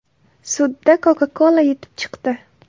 Sudda Coca-Cola yutib chiqdi.